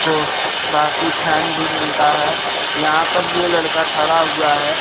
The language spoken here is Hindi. ओ बाकी फैन भी मिलता है यहां पर ये लड़का खड़ा हुआ है।